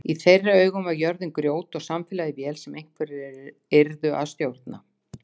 Í þeirra augum var jörðin grjót og samfélagið vél sem einhverjir yrðu að stjórna.